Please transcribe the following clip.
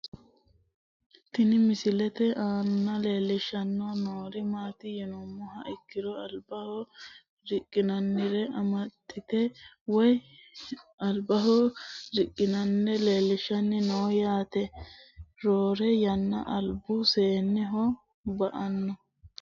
Tini misilete aanaleelishani noori maati yinumoha ikiro albaho riqinanire amaxite woyi albaho riqinanire leelishani noo yaate roore yanna albu seeneho ba`ano.